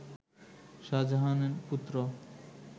শাহজাহান-পুত্র